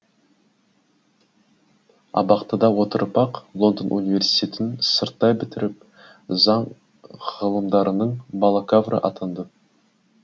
абақтыда отырып ақ лондон университетін сырттай бітіріп заң ғылымдарының бакалавры атанды